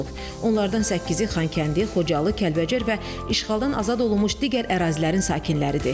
Onlardan səkkizi Xankəndi, Xocalı, Kəlbəcər və işğaldan azad olunmuş digər ərazilərin sakinləridir.